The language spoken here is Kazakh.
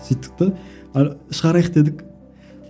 сөйттік те ы шығарайық дедік